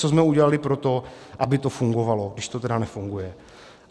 Co jsme udělali pro to, aby to fungovalo, když to tedy nefunguje?